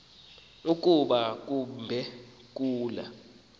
kuba kambe kula